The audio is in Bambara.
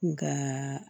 Nga